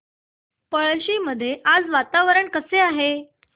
पळशी मध्ये आज वातावरण कसे आहे